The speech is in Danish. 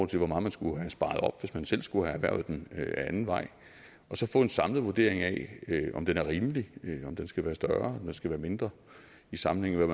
til hvor meget man skulle have sparet op hvis man selv skulle have erhvervet den ad anden vej og så få en samlet vurdering af om den er rimelig om den skal være større eller den skal være mindre i sammenhæng med